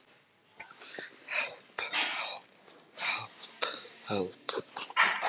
En það var sól þó að væri frekar kalt og við þornuðum frekar fljótt og